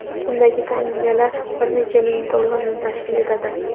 Undagi tangalar bir necha ming dollarni tashkil etadi.